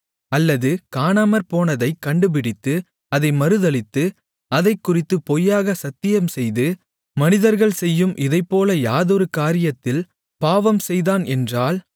அல்லது காணாமற்போனதைக் கண்டுபிடித்து அதை மறுதலித்து அதைக்குறித்துப் பொய்யாக சத்தியம் செய்து மனிதர்கள் செய்யும் இதைப்போல யாதொரு காரியத்தில் பாவம்செய்தான் என்றால்